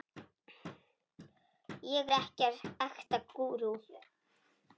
ég er ekta gúrú.